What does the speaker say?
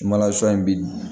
in bin